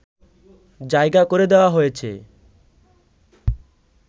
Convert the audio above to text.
জায়গা করে দেয়া হয়েছে